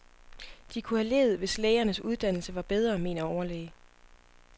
De kunne have levet, hvis lægernes uddannelse var bedre, mener overlæge.